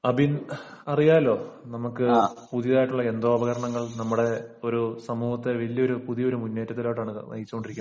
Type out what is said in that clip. അബിൻ അറിയാലോ നമുക്ക് പുതിയതായിട്ടുള്ള യന്ത്രോപകരണങ്ങൾ നമ്മുടെ ഒരു സമൂഹത്തിനു വലിയൊരു പുതിയൊരു മുന്നേറ്റത്തിലോട്ടാണ് നയിച്ചുകൊണ്ടിരിക്കുന്നത്